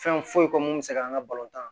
Fɛn foyi ko mun bɛ se k'an ka balon tan